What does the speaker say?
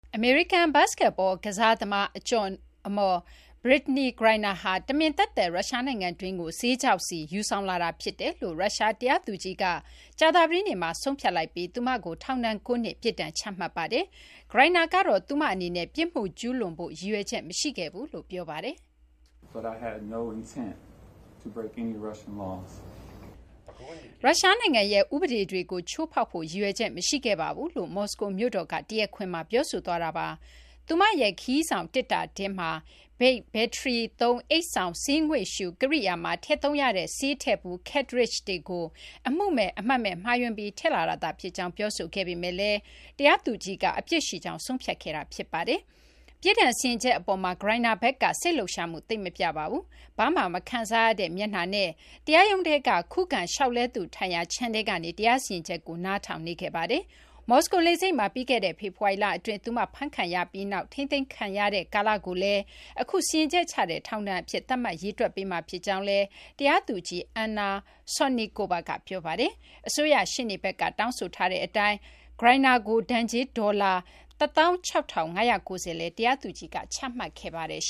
အမေရိကန် ဘတ်စကတ်ဘော ကစားသမား အကျော်အမော် Brittney Griner ဟာ တမင်သက်သက် ရုရှား နိုင်ငံတွင်းကို ဆေးခြောက်ဆီ ယူဆောင်လာတာဖြစ်တယ်လို့ ရုရှား တရားသူကြီးက ကြာသပတေးနေ့မှာ ဆုံးဖြတ်ပြီး သူမကို ထောင်ဒဏ် ၉ နှစ် ပြစ်ဒဏ် ချမှတ်လိုက်ပါတယ်။ Griner ကတော့ သူမ အနေနဲ့ ပြစ်မှု ကျူးလွန်ဖို့ ရည်ရွယ်ချက် မရှိခဲ့ကြောင်း ပြောပါတယ်။ "ရုရှားနိုင်ငံရဲ့ ဥပဒေတွေကို ချိုးဖောက်ဖို့ ရည်ရွယ်ချက် မရှိခဲ့ပါဘူး။" လို့ မော်စကိုမြို့တော်က တရားခွင်မှာ ပြောဆိုသွားတာပါ။ သူမရဲ့ ခရီးဆောင် သေတ္တာထဲမှာ Vape ဘက်ထရီသုံး အိတ်ဆောင်ဆေးငွေ့ရှု ကရိယာမှာ ထည့်သုံးရတဲ့ ဆေးထည့်ဘူး cartridge တွေကို အမှုမဲ့ အမှတ်မဲ့ မှားယွင်းပြီး ထည့်လာတာသာ ဖြစ်ကြောင်း ပြောဆိုခဲ့ပေမယ့်လည်း တရားသူကြီးက အပြစ်ရှိကြောင်း ဆုံးဖြတ်ခဲ့တာ ဖြစ်ပါတယ်။ ပြစ်ဒဏ် စီရင်ချက် အပေါ်မှာ Griner ဘက်က စိတ်လှုပ်ရှားမှု သိပ် မပြပါဘူး။ ဘာမှ မခံစားရတဲ့ မျက်နှာနဲ့ တရားရုံးထဲက ခုခံလျှောက်လဲသူ ထိုင်ရာ ခြံထဲကနေ တရားစီရင်ချက်ကို နားထောင်နေခဲ့ပါတယ်။ မော်စကို လေဆိပ်မှာ ပြီးခဲ့တဲ့ ဖေဖော်ဝါရီလ အတွင်း သူမ ဖမ်းခံရပြီးနောက် ထိန်းသိမ်းခံရတဲ့ ကာလကိုလည်း အခု စီရင်ချက် ချတဲ့ ထောင်ဒဏ်အဖြစ် သတ်မှတ် ရေတွက်ပေးမှာ ဖြစ်ကြောင်းလည်း တရားသူကြီး Anna Sotnikova က ပြောပါတယ်။ အစိုးရ ရှေ့နေဘက်က တောင်းဆိုထားတဲ့ အတိုင်း Griner ကို ဒဏ်ကြေး ဒေါ်လာ ၁၆,၅၉၀ လည်း တရားသူကြီးက ချမှတ်ခဲ့ပါတယ်။